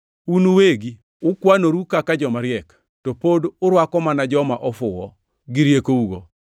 Un uwegi ukwanoru kaka joma riek, to pod urwako mana joma ofuwo gi riekougo!